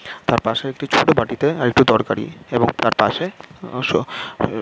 তার পাশে একটি ছোট বাটিতে আর একটু তরকারী এবং তার পাশে আ স এ--